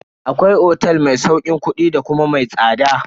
Akwai otel ma sauƙin kudi da kuma mai tsada.